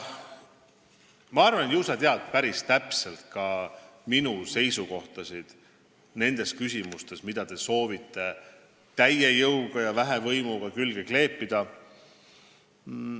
Ma arvan, et ju sa tead päris täpselt ka minu seisukohti nendes küsimustes, mida te soovite täie jõuga ja väevõimuga siia külge kleepida.